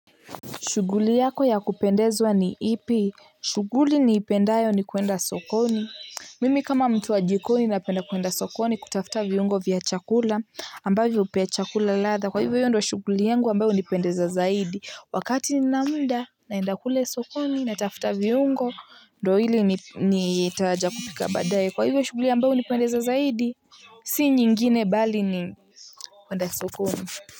Shuguli yako ya kupendezwa ni ipi? Shuguli ni ipendayo ni kuenda sokoni. Mimi kama mtu wa jikoni napenda kuenda sokoni kutafta viungo vya chakula ambavyo upea chakula latha. Kwa hivyo ndiyo shuguli yangu ambayo hunipendeza zaidi. Wakati nina muda naenda kule sokoni natafta viungo ndohili ni itaja kupika badaye. Kwa hivyo shuguli ambayo hunipendeza zaidi si nyingine bali ni kuenda sokoni.